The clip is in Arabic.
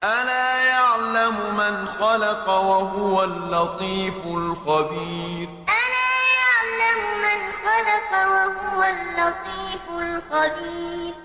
أَلَا يَعْلَمُ مَنْ خَلَقَ وَهُوَ اللَّطِيفُ الْخَبِيرُ أَلَا يَعْلَمُ مَنْ خَلَقَ وَهُوَ اللَّطِيفُ الْخَبِيرُ